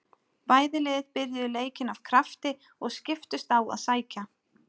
Bæði lið byrjuðu leikinn af krafti og skiptust á að sækja.